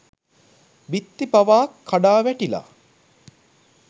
බිත්ති පවා කඩා වැටිලා